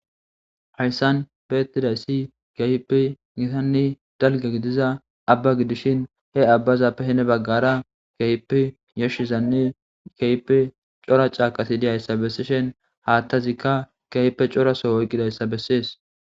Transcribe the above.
hayssan beettidayssi kehipe gitanne dalga gidiza abba gidishin he abbaza pehene baggara kayipe yashshizanne kaype cora caaqasi diyayssa bessishen haattazikka kehipe coraso oyqqidayssa bessees